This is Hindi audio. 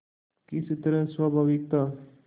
किस तरह स्वाभाविक था